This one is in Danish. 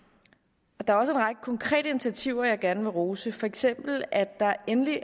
der er også en række konkrete initiativer jeg gerne vil rose for eksempel at der endelig